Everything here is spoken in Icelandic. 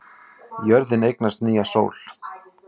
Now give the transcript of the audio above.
Jörðin eignast nýja sól